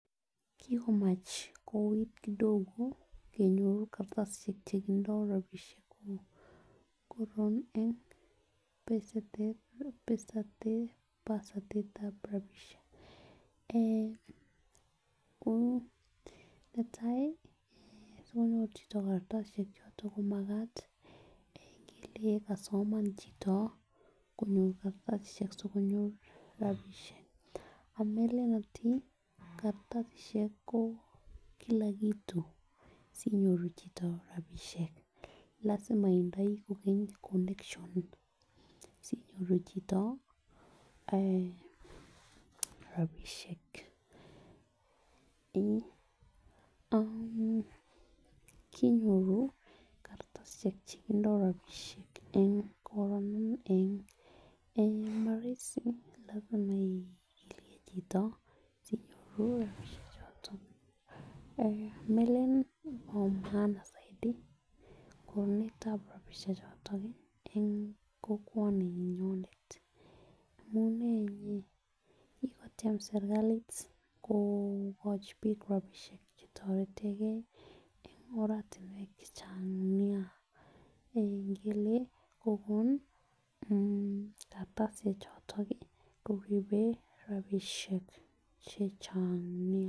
Kikomach kouuit kidogo en baetab rabisiek netai sigonyor chito kartasisiek choto komagat ingele kosoman chito konyor kartasisiek ameelen ati kartasisiek ko Kila kitu lazima itindoi connection sinyoru chito ak rabisiek [um]kinyoru kartasisiek chekindo rabisiek en maraisi lazima ilei chito sinyoru rabisiek chotomeelen bo maana saidi en kokwani nyonet amunee inye kokotiem serkalit kokochi bik rabisiek chetoreti en oratuniek chechang nea ingele kokon kartasit choton